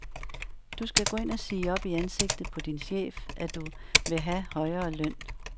Du skal gå ind og sige op i ansigtet på din chef, at du vil have højere løn.